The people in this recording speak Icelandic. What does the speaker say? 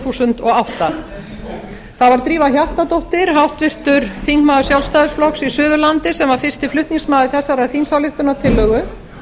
þúsund og átta það var drífa hjartardóttir háttvirtur þingmaður sjálfstæðisflokks í suðurlandi sem var fyrsti flutningsmaður þessarar þingsályktunartillögu